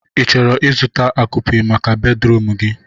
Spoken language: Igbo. Ị chọrọ ịzụta akupe maka bedruum gi?